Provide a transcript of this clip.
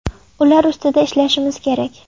Ular ustida ishlashimiz kerak.